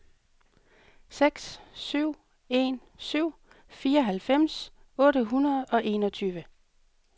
seks syv en syv fireoghalvfems otte hundrede og enogtyve